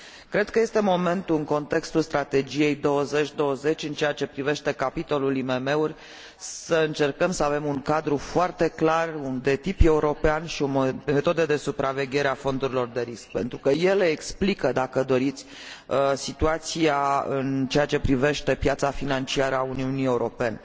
Cred că este momentul, în contextul Strategiei UE 2020, în ceea ce privește capitolul IMM uri, să încercăm să avem un cadru foarte clar, de tip european și o metodă de supraveghere a fondurilor de risc, pentru că ele explică, dacă doriți, situația în ceea ce privește piața financiară a Uniunii Europene.